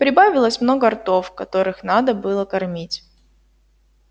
прибавилось много ртов которых надо было кормить